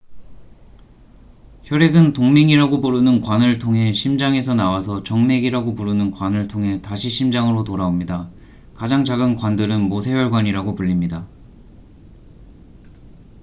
혈액은 동맥이라고 부르는 관을 통해 심장에서 나와서 정맥이라고 부르는 관을 통해 다시 심장으로 돌아옵니다 가장 작은 관들은 모세혈관이라고 불립니다